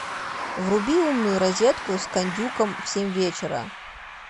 вруби умную розетку с кондюком в семь вечера